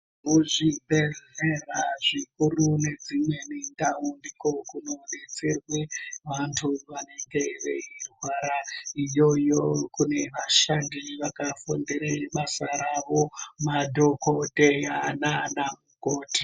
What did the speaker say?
Muzvibhedhlera zvikuru ngedzimweni ndau ndiko kunodetserwe vantu vanenge veirwara, iyoyo kune vashandi vakafundira basa ravo, madhokodheya nanamukoti.